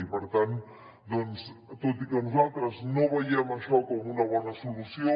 i per tant doncs tot i que nosaltres no veiem això com una bona solució